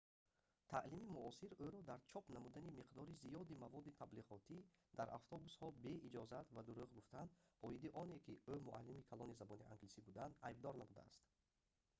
таълими муосир ӯро дар чоп намудани миқдори зиёди маводи таблиғотӣ дар автобусҳо бе иҷозат ва дурӯғ гуфтан оиди оне ки ӯ муалими калони забони англисӣ будан айбдор намудааст